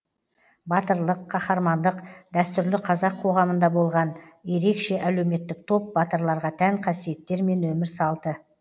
батырлық қаһармандық дәстүрлі қазақ қоғамында болған ерекше әлеуметтік топ батырларға тән қасиеттер мен өмір салты